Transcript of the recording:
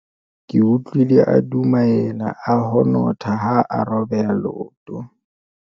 ke utlwile a dumaela a honotha ha a robeha leoto